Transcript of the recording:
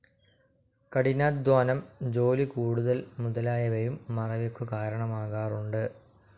കഠിനാധ്വാനം, ജോലിക്കൂടുതൽ മുതലായവയും മറവിക്കു കാരണമാകാറുണ്ട്.